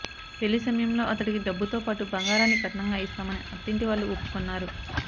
పెళ్లి సమయంలో అతడికి డబ్బుతో పాటూ బంగారాన్ని కట్నంగా ఇస్తామని అత్తింటివాళ్లు ఒప్పుకున్నారు